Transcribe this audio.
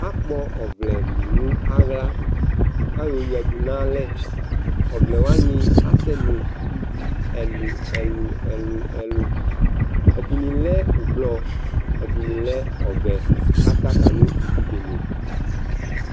akpɔ ɔvlɛ lò no ala k'ayɔ ya du n'alɛ ɔvlɛ wani asɛnò ivi ɛlò ɛlò ɛlò ɛlò ɛdini lɛ ublɔ ɛdini lɛ ɔvɛ k'atsaka no ivi bene